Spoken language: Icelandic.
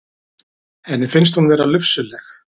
Henni finnst hún vera lufsuleg.